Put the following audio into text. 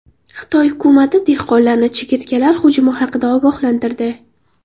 Xitoy hukumati dehqonlarni chigirtkalar hujumi haqida ogohlantirdi.